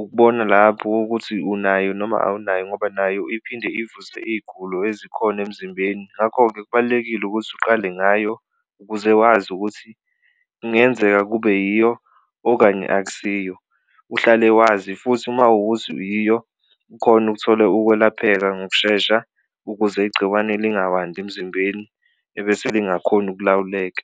ukubona lapho kokuthi unayo noma awunayo ngoba nayo iphinde ivuse iy'gulo ezikhona emzimbeni ngakho-ke, kubalulekile ukuthi uqale ngayo ukuze wazi ukuthi kungenzeka kube yiyo okanye akusiyo. Uhlale wazi futhi mawukuthi yiyo ukhone ukuthola ukwelapheka ngokushesha ukuze igciwane lingawandi emzimbeni ebese lingakhoni ukulawuleka.